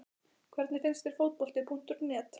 Hvernig finnst þér Fótbolti.net?